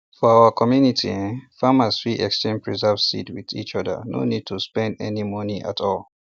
for our community um farmers fit exchange preserved seeds with each other no need to spend any money at all